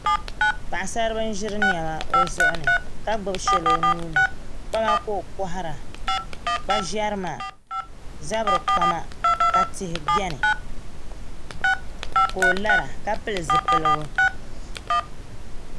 Paɣasaribili n ʒiri niɛma o zuɣuni ka bubi shɛli o nuuni kpama ka o kohara kpa ʒɛrima zabiri kpama ka tihi biɛni ka o lara ka pili zipiligu